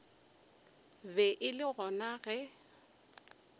be e le gona ge